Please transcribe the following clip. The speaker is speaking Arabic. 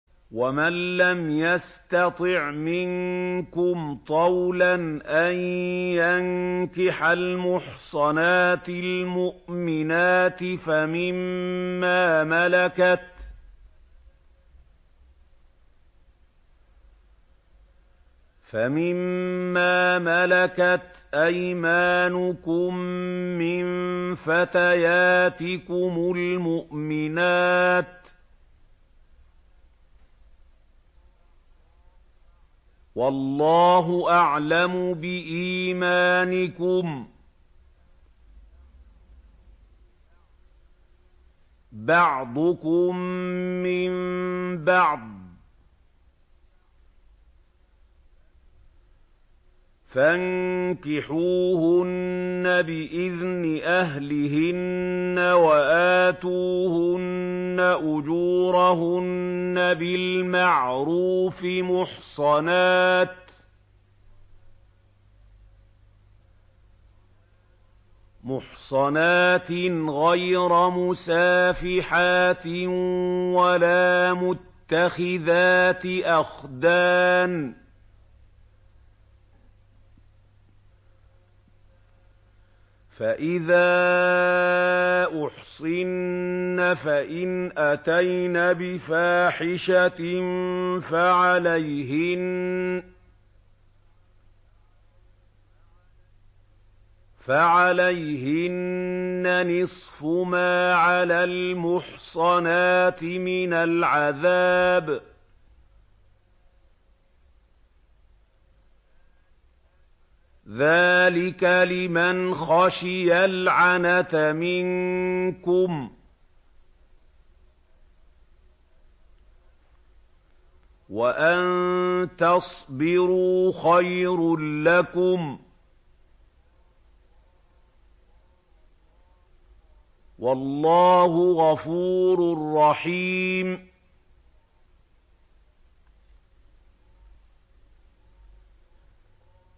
وَمَن لَّمْ يَسْتَطِعْ مِنكُمْ طَوْلًا أَن يَنكِحَ الْمُحْصَنَاتِ الْمُؤْمِنَاتِ فَمِن مَّا مَلَكَتْ أَيْمَانُكُم مِّن فَتَيَاتِكُمُ الْمُؤْمِنَاتِ ۚ وَاللَّهُ أَعْلَمُ بِإِيمَانِكُم ۚ بَعْضُكُم مِّن بَعْضٍ ۚ فَانكِحُوهُنَّ بِإِذْنِ أَهْلِهِنَّ وَآتُوهُنَّ أُجُورَهُنَّ بِالْمَعْرُوفِ مُحْصَنَاتٍ غَيْرَ مُسَافِحَاتٍ وَلَا مُتَّخِذَاتِ أَخْدَانٍ ۚ فَإِذَا أُحْصِنَّ فَإِنْ أَتَيْنَ بِفَاحِشَةٍ فَعَلَيْهِنَّ نِصْفُ مَا عَلَى الْمُحْصَنَاتِ مِنَ الْعَذَابِ ۚ ذَٰلِكَ لِمَنْ خَشِيَ الْعَنَتَ مِنكُمْ ۚ وَأَن تَصْبِرُوا خَيْرٌ لَّكُمْ ۗ وَاللَّهُ غَفُورٌ رَّحِيمٌ